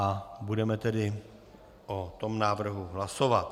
A budeme tedy o tom návrhu hlasovat.